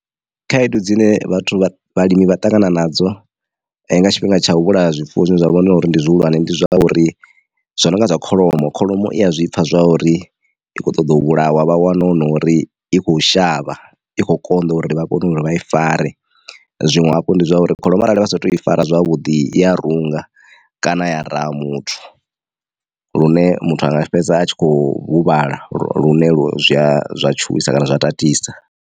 Khaedu dzine vhathu vha vhalimi vha ṱangana nadzo nga tshifhinga tsha u vhulaya zwifuwo zwine zwa vha hone uri ndi zwihulwane ndi zwa uri zwa nonga zwa kholomo. Kholomo i a zwipfha zwa uri i kho ṱoḓa u vhulawa vha wana hu nori i kho shavha ikho konḓa uri vha kone uri vha i fare zwiṅwe hafhu ndi zwa uri kholomo arali vha sa tou i fara zwavhuḓi i ya runga kana ya raha muthu lune muthu anga fhedza a tshi kho huvhala lune lu zwa tshuwisa kana zwa tatisa.